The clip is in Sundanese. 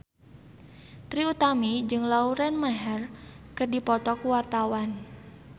Trie Utami jeung Lauren Maher keur dipoto ku wartawan